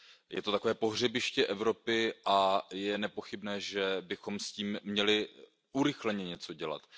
Je to takové pohřebiště Evropy a je nepochybné, že bychom s tím měli urychleně něco dělat.